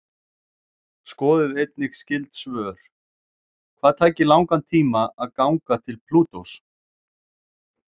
Skoðið einnig skyld svör: Hvað tæki langan tíma að ganga til Plútós?